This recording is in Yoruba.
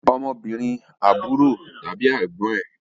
Ọmọbìnrin àbúrò tàbí ẹ̀gbọ́n ẹn